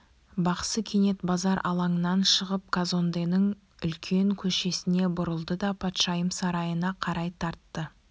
бақсы кенет базар алаңынан шығып казонденің үлкен көшесіне бұрылды да патшайым сарайына қарай тартты